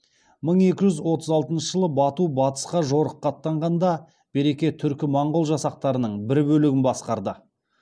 мың екі жүз отыз алтыншы жылы бату батысқа жорыққа аттанғанда берке түркі моңғол жасақтарының бір бөлігін басқарды